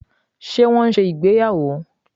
Ṣe wọn n ṣe ìgbéyàwò?